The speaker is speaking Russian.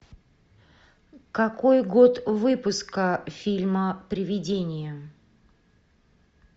какой год выпуска фильма привидение